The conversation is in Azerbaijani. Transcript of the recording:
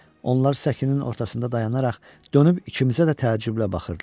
Onlar səkinin ortasında dayanaraq dönüb ikimizə də təəccüblə baxırdılar.